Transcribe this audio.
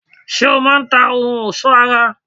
Ṣé o má a n ta ohun òsó ara?